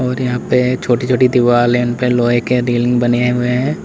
यहां पे छोटी छोटी दीवार है इनपे लोहे के रेलिंग बने हुए है।